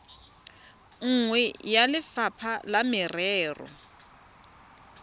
nngwe ya lefapha la merero